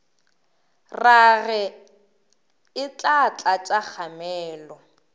rage e tla tlatša kgamelo